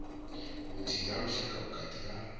vhuthihi ha lushaka vhukati ha